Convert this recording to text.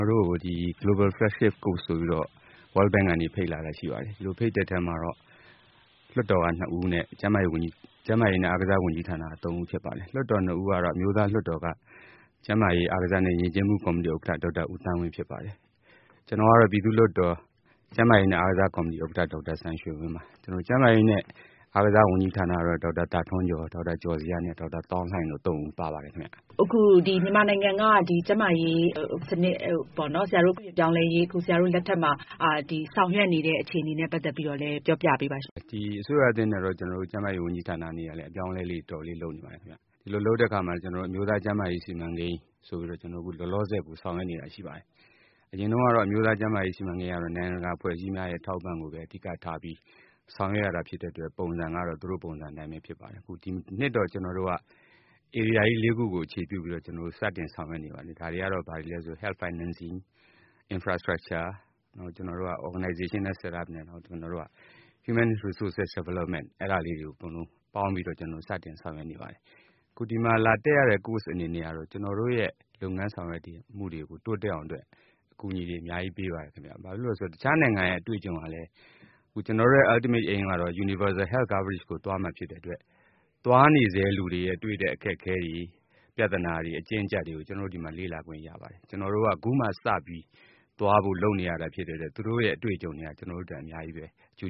ော်တို့ကို Global Flagship Course ဆိုပြီး World Bank ကမ္ဘာဘဏ်ကနေ ဖိတ်လာ တာရှိ ပါတယ်။ ဒီလိုဖိတ်တဲ့ အထဲမှာ လွှတ်တော်က နှစ်ဦးနဲ့ ကျန်းမာရေးနဲ့ အားကစား ဝန်ကြီးဌာနက သုံးဦးဖြစ်ပါတယ်။ အမျိုးသားလွှတ်တော်က ကျန်းမာရေး၊ အားကစားနဲ့ ယဉ်ကျေးမှုကော်မတီ ဥက္ကဌ ဒေါက်တာ သန်းဝင်း၊ ပြည်သူ့လွှတ်တော် ဥက္ကဌ ဒေါက်တာစံရွှေဝင်း၊ ကျန်းမာရေးနဲ့ အားကစား ဝန်ကြီးဌာနက ဒေါက်တာသာ ထွန်းကျော်၊ ဒေါက် တာကျော်ဇေယျနဲ့ ဒေါက်တာသောင်းလှိုင်တို့ သုံးဦးပါပါတယ်။ မေး။ ။ အစိုးရသစ်လက်ထက်မြန်မာနိုင်ငံက ကျန်းမာရေး စနစ် ပြုပြင်ပြောင်း လဲမှုတွေလုပ်နေတဲ့ အခြေအနေတွေကို ပြောပြပေးပါရှင့်။ ဖြေ။ ။ အစိုးရသစ် ကျန်းမာရေး ဝန်ကြီးဌာနအနေနဲ့ အပြောင်းအလဲတွေ အတော်လေးလုပ်နေပါတယ်။ ဒီလိုလုပ်တဲ့နေရာမှာ အမျိုးသားကျန်းမာရေးစီမံကိန်း ဆိုပြီးလောလော ဆယ်ဆောင်ရွက်နေ တာရှိ ပါတယ်။ အရင်တုန်းကတော့ အမျိုး သားကျန်းမာရေးစီမံကိန်းကို နိုင်ငံတကာအဖွဲ့အစည်းများရဲ့ အထောက်အ ပံ့ကိုပဲအ ဓိကထားဆောင်ရွက်ရတာဖြစ်ပါတယ်။ ဒီနှစ်တော့ ဧရိယာကြီးလေးခုကို အခြေခံပြီး စတင်ဆောင်ရွက်နေပါတယ်။ ဒါတွေကတော့ Health Financing ၊ Infrastructure ၊ Organizational Setup ၊ Human Resource Development တွေကို စတင်ဆောင်ရွက်နေပါတယ်။ အခုဒီမှာလာတက်နေတဲ့ Course တွေကနေ ကျနော်တို့ရဲ့ လုပ်ငန်းတွေတိုးတက်အောင် အကူအညီတွေ အများကြီးပေးပါတယ်။ ကျနော်တို့ရဲ့ ရည်မှန်းချက်ကလည်း Universal Health Coverage ကိုသွားမှာဖြစ်တဲ့အတွက် သွားနေဆဲလူတွေ တွေ့တဲ့အခက်အခဲတွေ၊ ပြဿနာတွေ၊ အကျဉ်းအကျပ်တွေကို ကျနော်တို့ ဒီမှာ လေ့လာခွင့်ရပါတယ်။ ကျနော်တို့က ခုမှစပြီး သွားဖို့ လုပ်နေရာဖြစ်တဲ့အတွက် သူတို့ရဲ့ အတွေ့အကြုံတွေက ကျနော်တို့အတွက် အများကြီးပဲ အကျိ